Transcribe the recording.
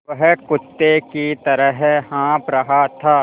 वह कुत्ते की तरह हाँफ़ रहा था